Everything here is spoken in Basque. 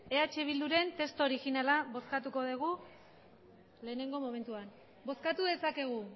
eh bilduren testu originala bozkatuko dugu lehenengo momentuan bozkatu dezakegu